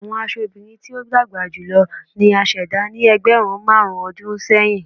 Awọn aṣọ obirin ti o dagba julọ ni a ṣẹda ni ẹgbẹrun marun ọdun sẹyin